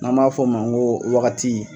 Nan b'a fɔ o ma ko wagati